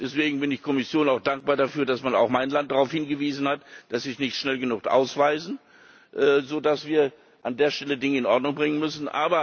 Deswegen bin ich der Kommission auch dankbar dafür, dass man auch mein Land darauf hingewiesen hat, dass nicht schnell genug ausgewiesen wird, sodass wir an dieser Stelle Dinge in Ordnung bringen müssen.